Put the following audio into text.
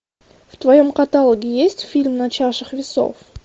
в твоем каталоге есть фильм на чашах весов